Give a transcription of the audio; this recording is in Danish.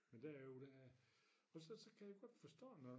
Men der er jo det her og så så kan jeg godt forstå når